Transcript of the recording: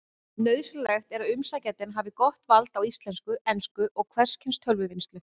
Nauðsynlegt er að umsækjandi hafi gott vald á íslensku, ensku og hvers kyns tölvuvinnslu.